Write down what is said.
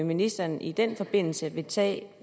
ministeren i den forbindelse vil tage